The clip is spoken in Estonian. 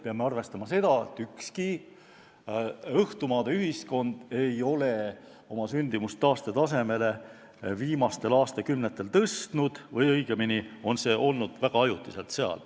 Peame arvestama seda, et ükski õhtumaade ühiskond ei ole viimastel aastatel oma sündimust taastetasemele tõstnud või õigemini on see seal olnud väga ajutiselt.